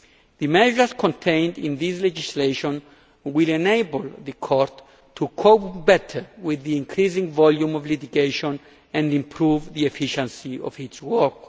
The measures contained in this legislation will enable the Court to cope better with the increasing volume of litigation and improve the efficiency of its work.